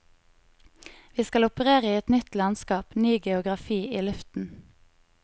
Vi skal operere i et nytt landskap, ny geografi i luften.